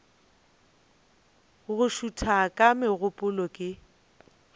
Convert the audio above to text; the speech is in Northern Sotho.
go šutha ga megopolo ke